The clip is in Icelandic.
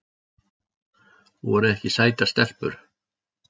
Voru ekki sætar stelpur?